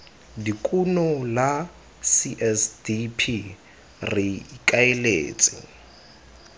dikuno la csdp re ikaeletse